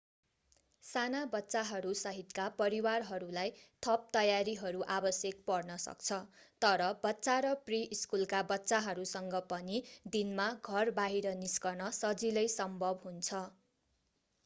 साना बच्चाहरू सहितका परिवारहरूलाई थप तयारीहरू आवश्यक पर्न सक्छ तर बच्चा र प्रि-स्कुलका बच्चाहरूसँग पनि दिनमा घर बाहिर निस्कन सजिलै सम्भव हुन्छ